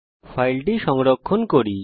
এখন ফাইলটি সংরক্ষণ করি